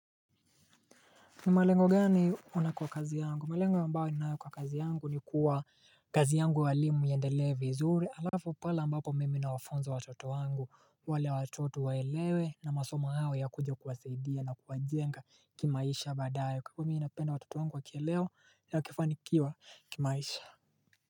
Ni malengo gani una kwa kazi yangu? Malengo ambayo ninayo kwa kazi yangu ni kuwa kazi yanguya uwalimu iendelee vizuri alafu pale ambapo mimi na wafunza watoto wangu wale watoto waelewe na masoma hayo ya kuje kuwasaidia na kuwajenga kimaisha baadaye kwahivyo mimi napenda watoto wangu wakielewa nawakifanikiwa kimaisha.